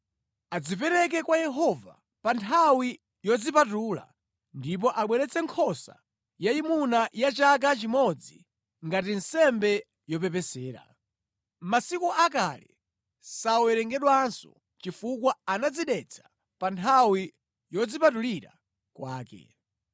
Adzipereke kwa Yehova pa nthawi yodzipatula ndipo abweretse nkhosa yayimuna ya chaka chimodzi ngati nsembe yopepesera. Masiku akale sawerengedwanso chifukwa anadzidetsa pa nthawi yodzipatulira kwake.